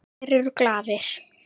Allir eru glaðir.